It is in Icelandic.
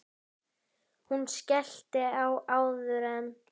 Hún skellti á áður en